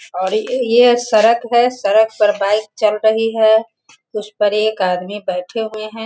और यह सड़क है। सड़क पर बाइक चल रही है उस पर एक आदमी बैठे हुए हैं।